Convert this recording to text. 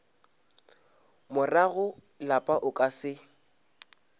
morago lapa o ka se